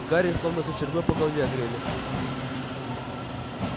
гарри словно кочергой по голове огрели